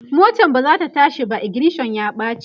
motan bazata tashi ba, ignition ya ɓace